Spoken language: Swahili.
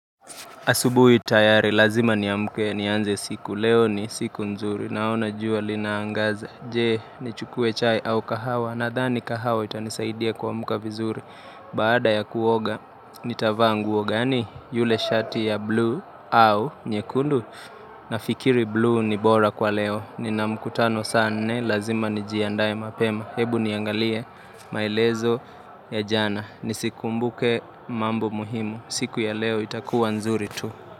Asubu tayari, lazima ni amke ni anze siku, leo ni siku nzuri, naona jua linaangaza, je? Nichukue chai au kahawa, nadhani kahawa itanisaidia kuamka vizuri, baada ya kuoga, nitavaa nguo gani? Yule shati ya blue au nyekundu, nafikiri blue ni bora kwa leo, ni namkutano saa nne, lazima nijiandae mapema, hebu niangalie, maelezo ya jana, ni sikumbuke mambo muhimu, siku ya leo itakuwa nzuri tu.